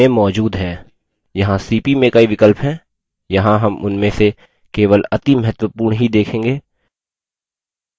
यहाँ cp में कई विकल्प हैं यहाँ हम उनमें से केवल अति महत्वपूर्ण ही देखेंगे